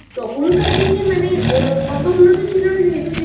তখনকার দিনে মানে এত উন্নত ছিল না যেহেতু সেইজন্য পুরো